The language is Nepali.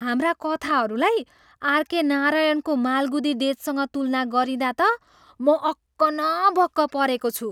हाम्रा कथाहरूलाई आरके नारायणको मालगुदी डेजसँग तुलना गरिँदा त म अक्क न बक्क परेको छु!